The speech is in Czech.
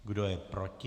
Kdo je proti?